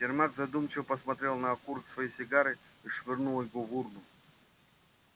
сермак задумчиво посмотрел на окурок своей сигары и швырнул его в урну